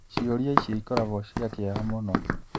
Ciũria icio ikoragwo cia kĩeha mũno.